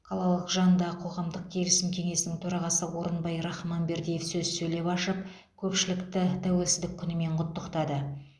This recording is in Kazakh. қалалық жанындағы қоғамдық келісім кеңесінің төрағасы орынбай рахманбердиев сөз сөйлеп ашып көпшілікті тәуелсіздік күнімен құттықтады